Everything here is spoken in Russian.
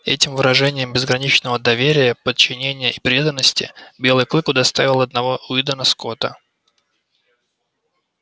этим выражением безграничного доверия подчинения и преданности белый клык удостаивал одного уидона скотта